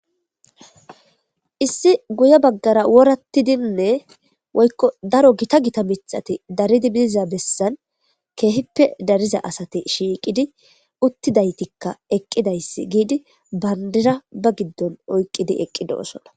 issi guye baggara worattidinne woykko daro gita gita mixati daridi bidiza bessan keehippe dariza asate shiiqidi uttidaytikka eqqidayssi giidi bandira ba giddon oyqqidi eqqidoosona